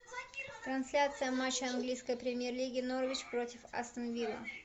трансляция матча английской премьер лиги норвич против астон вилла